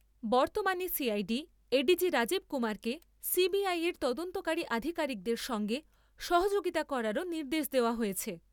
বর্তমানে CID ADG Rajeev কুমারকে CBI এর তদন্তকারী আধিকারিকদের সঙ্গে সহযোগিতা করারও নির্দেশ দেওয়া হয়েছে ।